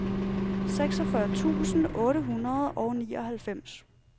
seksogfyrre tusind otte hundrede og nioghalvfems